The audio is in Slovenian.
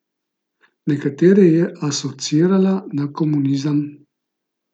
Nekatere je asociirala na komunizem.